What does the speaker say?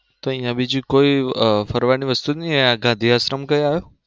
તો અહીંયા બીજું કોઈ અમ ફરવાનું વસ્તુ નઈ અહીં ગાંધી આશ્રમ ક્યાં ?